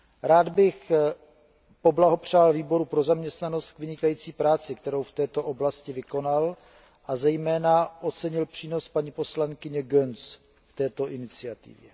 Rád bych poblahopřál Výboru pro zaměstnanost k vynikající práci, kterou v této oblasti vykonal, a zejména ocenil přínos paní poslankyně Göncz k této iniciativě.